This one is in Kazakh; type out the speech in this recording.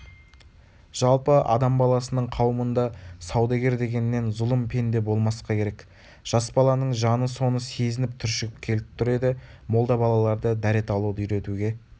жалпы адам баласының қауымында саудагер дегеннен зұлым пенде болмасқа керек жас баланың жаны соны сезініп түршігіп келіп тұр еді молда балаларды дәрет алуды үйретуге